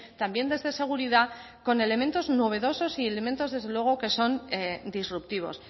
también desde seguridad con elementos novedosos y elementos desde luego que son disruptivos